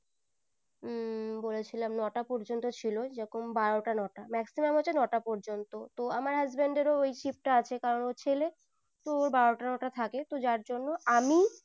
উম বলেছিলাম নোটা পর্যন্ত ছিল যখন বারোটা নটা maximum হচ্ছে নটা পর্যন্ত তো আমার husband এরও ওই shift আছে কারণ ও ছেলে তো ওর বারো টা নটা থাকে তো যার জন্য